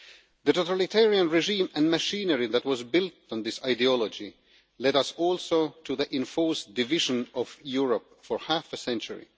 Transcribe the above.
The totalitarian regime and machinery that was built on this ideology also led us to the enforced division of Europe for half a century.